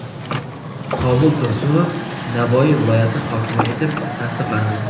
Qobul Tursunov Navoiy viloyati hokimi etib tasdiqlandi.